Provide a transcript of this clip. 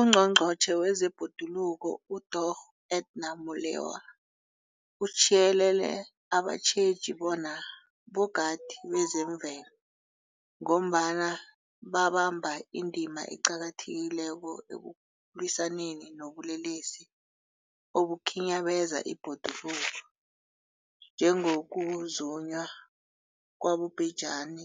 UNgqongqotjhe wezeBhoduluko uDorh Edna Molewa uthiyelele abatjheji bona bogadi bezemvelo, ngombana babamba indima eqakathekileko ekulwisaneni nobulelesi obukhinyabeza ibhoduluko, njengokuzunywa kwabobhejani